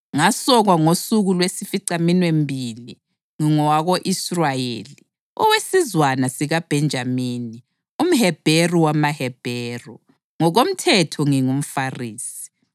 ngasokwa ngosuku lwesificaminwembili, ngingowako-Israyeli, owesizwana sakoBhenjamini, umHebheru wamaHebheru; ngokomthetho, ngingumFarisi;